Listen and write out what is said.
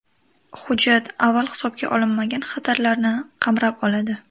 Hujjat avval hisobga olinmagan xatarlarni qamrab oladi.